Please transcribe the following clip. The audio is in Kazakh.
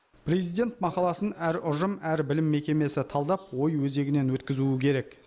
президент мақаласын әр ұжым әр білім мекемесі талдап ой өзегінен өткізуі керек